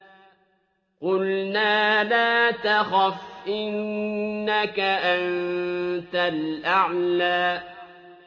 قُلْنَا لَا تَخَفْ إِنَّكَ أَنتَ الْأَعْلَىٰ